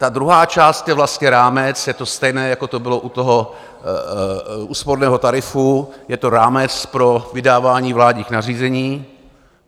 Ta druhá část je vlastně rámec, je to stejné, jako to bylo u úsporného tarifu, je to rámec pro vydávání vládních nařízení.